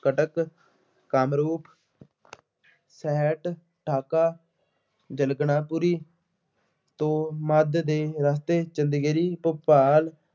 ਕੱਟਕ, ਕਾਂਦਰੂ, ਸਹਿਟ, ਢਾਕਾ, ਜਰਗਨਾਥਪੁਰੀ ਤੋ ਮੱਧ ਦੇ ਰਸਤੇ ਚਿਲੀਖੇੜੀ, ਭੋਪਾਲ